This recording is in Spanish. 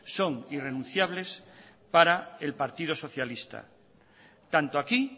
son irrenunciables para el partido socialista tanto aquí